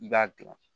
I b'a gilan